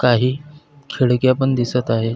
काही खिडक्या पण दिसत आहेत.